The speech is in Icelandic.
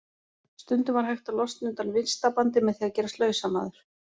Stundum var hægt að losna undan vistarbandi með því að gerast lausamaður.